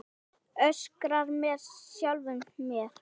Öskra með sjálfri mér.